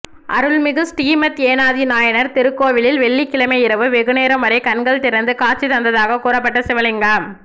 அருள்மிகு ஸ்ரீமத் ஏனாதி நாயனார் திருக்கோவிலில் வெள்ளிக்கிழமை இரவு வெகுநேரம்வரை கண்கள் திறந்து காட்சி தந்ததாகக் கூறப்பட்ட சிவலிங்கம்